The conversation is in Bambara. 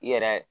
I yɛrɛ